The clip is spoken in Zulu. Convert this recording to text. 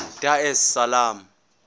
dar es salaam